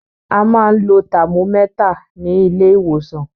A máa ń lo tàmómẹ́tà ní ilé ìwòsàn